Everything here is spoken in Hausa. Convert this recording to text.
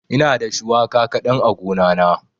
Ina da shuwaka kaɗan a gona na.